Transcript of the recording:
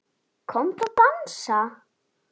Komdu að dansa